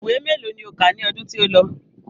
Ìwé mélòó ni o kà ní ọdún tí ó lọ?